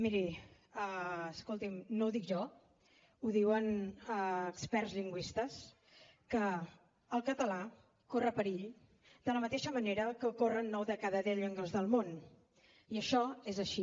miri escolti’m no ho dic jo ho diuen experts lingüistes que el català corre perill de la mateixa manera que el corren nou de cada deu llengües del món i això és així